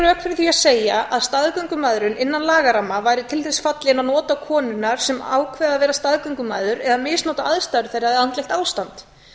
því að segja að staðgöngumæðrun innan lagaramma væri til þess fallin að nota konuna sem ákveði að vera staðgöngumæður eða misnota aðstæður þeirra eða andlegt ástand